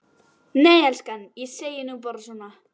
Nei elskan, ég segi nú bara svona.